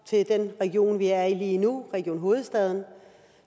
til den region vi er i lige nu region hovedstaden